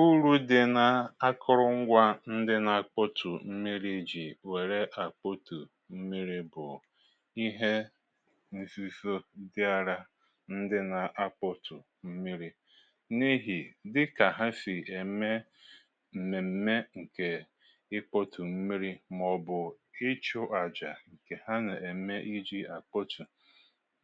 Ụrụ di n’akụrụ ngwa ndị n’akpọtụ̀ mmiri iji were akpọtụ̀ mmiri bụ̀ ihe nzizọ dị ara ndị n’akpọtụ̀ mmiri. N’ihì dịka ha sì eme m̀mem̀me nke ịkpọtụ̀ mmiri maọ̀bụ̀ ịchụ̇ aja nke ha na-eme iji̇ akpọtụ̀